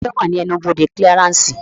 Taani ó wà ní ẹnu-ibodè kílíaránsì